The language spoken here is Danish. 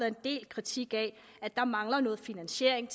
en del kritik af at der mangler noget finansiering